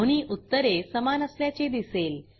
दोन्ही उत्तरे समान असल्याचे दिसेल